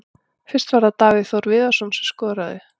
Fyrst var það Davíð Þór Viðarsson sem skoraði.